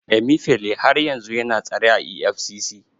Emifele har yanzu yana tsare a EFCC.